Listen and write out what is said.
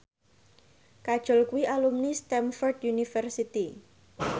Kajol kuwi alumni Stamford University